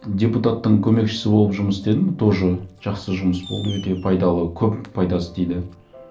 депутаттың көмекшісі болып жұмыс істедім тоже жақсы жұмыс болды өте пайдалы көп пайдасы тиді